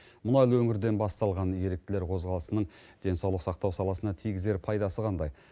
мұнайлы өңірден басталған еріктілер қозғалысының денсаулық сақтау саласына тигізер пайдасы қандай